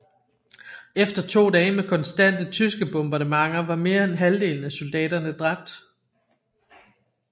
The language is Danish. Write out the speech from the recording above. Efter to dage med konstante tyske bombardementer var mere end halvdelen af soldaterne dræbt